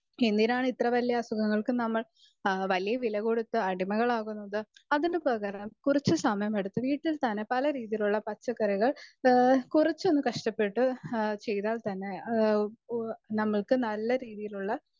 speaker 2 എന്തിനാണ് ഇത്ര വലിയ അസുഖങ്ങൾക്ക് നമ്മൾ വലിയ വില കൊടുത്ത് അടിമകളാകുന്നത് അതിന് പകരം കുറച്ച് സമയം എടുത്ത് വീട്ടിൽ തന്നെ പല രീതിയിലുള്ള പച്ചക്കറികൾ കുറച്ചൊന്ന് കഷ്ടപ്പെട്ട് ചെയ്‌താൽ തന്നെ നമ്മൾക്ക് നല്ല രീതിയിലുള്ള